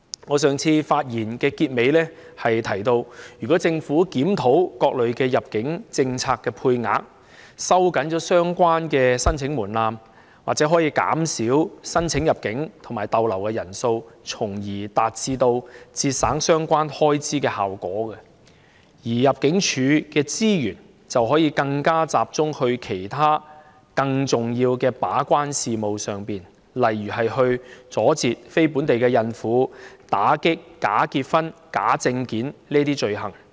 我在上次發言的結尾部分提到，如果政府檢討各類入境政策的配額，收緊相關申請門檻，或可減少申請入境和逗留的人數，從而達致節省相關開支的效果，而入境處的資源亦可以更加集中為其他更重要的事務把關，例如阻截非本地孕婦入境、打擊假結婚和假證件等罪行。